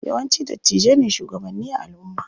Yawanci dattijai ne shugabanni a alumma.